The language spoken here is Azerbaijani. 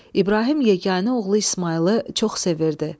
İbrahim yeganə oğlu İsmayılı çox sevirdi.